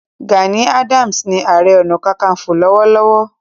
Gani Adams ni Aare Ona Kakanfo lọ́wọ́lọ́wọ́